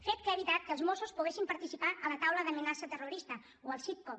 fet que ha evitat que els mossos poguessin participar a la taula d’amenaça terrorista o al citco